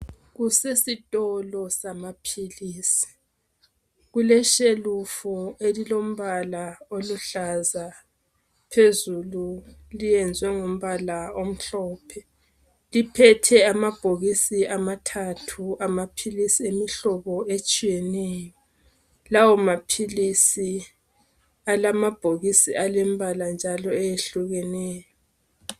Kusesitolo samapills kuleshelufulu elilombala oluhlaza phezulu lenzwe ngombala omhlophe liphethe amabhokisi amathathu amapills awehlobo etshiyeneyo lawa mapills alamabhokisi alemibala njalo eyehlukeneyo